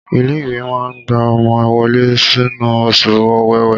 Ilé ìwé máa gba ọmọ wọlé nínú oṣù ọ̀wẹ̀wẹ̀.